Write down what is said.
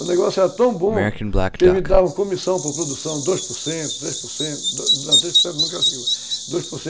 O negócio era tão bom que eles me davam comissão por produção dois por cento, três por cento, não, três por cento nunca chegou, dois por cento,